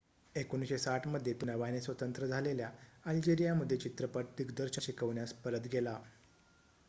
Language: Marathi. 1960 मध्ये तो नव्याने स्वतंत्र झालेल्या अल्जेरिया मध्ये चित्रपट दिग्दर्शन शिकवण्यास परत गेला